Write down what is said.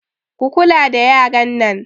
Ku kula da yaran nan!